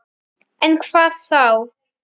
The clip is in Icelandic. En hvað þá?